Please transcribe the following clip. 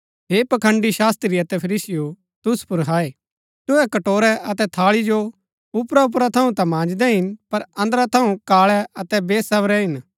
हे पखंड़ी शास्त्री अतै फरीसीयों तुसु पुर हाय तुहै कटोरै अतै थाळी जो ऊपरा ऊपरा थऊँ ता मांजदै हिन पर अन्दरा थऊँ काळै अतै वेसवरै हिन